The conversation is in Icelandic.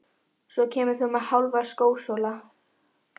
Svo kemur þú með Hálfa skósóla.